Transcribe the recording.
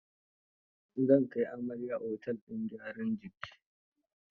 Zan kai amaryar otel din gyaran jiki.